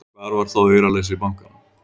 Hvar var þá auraleysi bankanna!